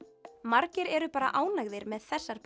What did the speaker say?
margir eru bara ánægðir með þessar